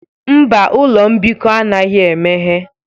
Mba, ụlọ mbikọ anaghị emeghe.